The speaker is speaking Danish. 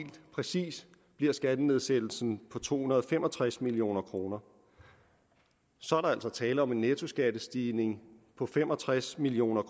præcis bliver skattenedsættelsen på to hundrede og fem og tres million kroner så er der altså tale om en nettoskattestigning på fem og tres million